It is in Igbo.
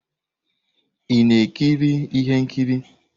Ị na-ekiri ihe nkiri?